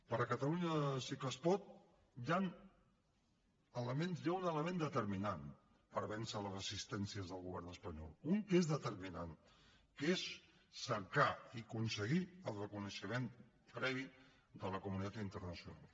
per catalunya sí que es pot hi ha un element determinant per vèncer les residències del govern espanyol un que és determinant que és cercar i aconseguir el reconeixement previ de la comunitat internacional